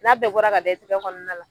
N'a bɛɛ bɔra ka da i tigɛ kɔnɔna la.